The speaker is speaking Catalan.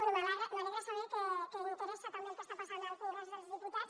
bé m’alegra saber que interessa també el que està passant al congrés dels diputats